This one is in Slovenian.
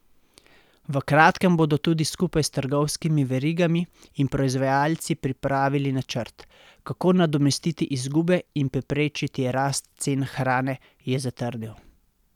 V kratkem bodo tudi skupaj s trgovskimi verigami in proizvajalci pripravili načrt, kako nadomestiti izgube in preprečiti rast cen hrane, je zatrdil.